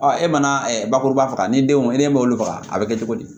e mana bakuruba faga ni denw ne m'olu faga a bɛ kɛ cogo di